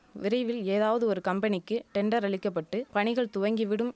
விரைவில் ஏதாவது ஒரு கம்பெனிக்கு டெண்டர் அளிக்கபட்டு பணிகள் துவங்கி விடும்